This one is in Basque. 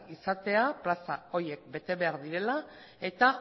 izatea plaza horiek bete behar direla eta